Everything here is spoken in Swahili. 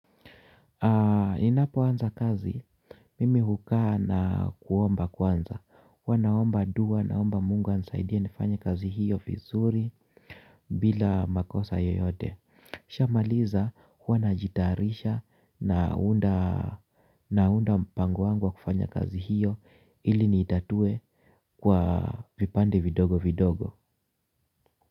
Ninapoanza kazi, mimi hukaa na kuomba kwanza. Huwa naomba dua naomba mungu anisaidie nifanye kazi hiyo vizuri bila makosa yoyote nikishamaliza huwa najitayarisha naunda naunda mpango wangu wa kufanya kazi hiyo ili nitatue kwa vipande vidogo vidogo.